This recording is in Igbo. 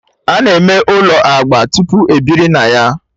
Ana eme ụlọ agba tupu ebiri na ya